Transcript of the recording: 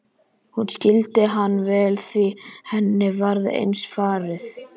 Hún skildi hann vel því henni var eins farið.